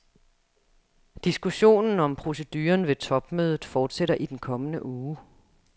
Diskussionen om proceduren ved topmødet fortsætter i den kommende uge.